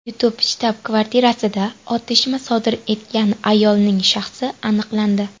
YouTube shtab-kvartirasida otishma sodir etgan ayolning shaxsi aniqlandi.